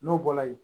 N'o bɔra yen